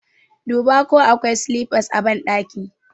Dubo ko akwai silifas a ɓandaki!